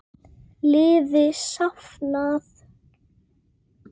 Seðlum stungið ofan í buddu.